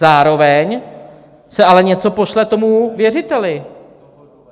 Zároveň se ale něco pošle tomu věřiteli.